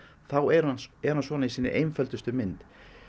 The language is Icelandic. þá er hann er hann svona í sinni einföldustu mynd